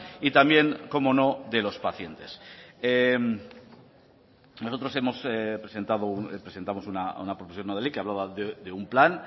y también cómo no de los pacientes nosotros presentamos una proposición no de ley que hablaba de un plan